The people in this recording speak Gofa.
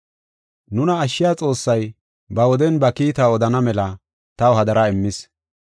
Nuna ashshiya Xoossay ba woden ha kiitaa odana mela taw hadara immis.